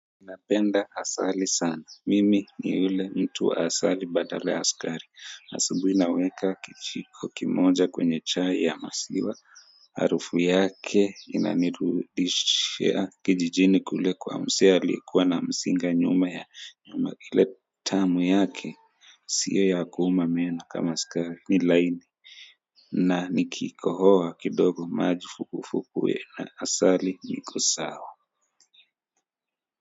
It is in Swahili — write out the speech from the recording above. Napenda asali sana. Mimi ni ule mtu wa asali badala ya sukari. Asubuhi naweka kijiko kimoja kwenye chai ya maziwa. Harufu yake inanirudishia kijijini kule kwa mzee aliyekuwa na mzinga nyuma ya nyumba ile tamu yake. Sio ya kuuma meno kama sukari, ni laini. Na nikikohoa kidogo maji vuguvugu na asali niko sawa.